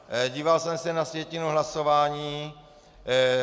Díval jsem se na sjetinu hlasování.